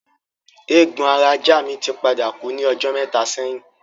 Eégbon ara ajá mi tí padà kú ní ọjọ́ mẹ́ta sẹ́yìn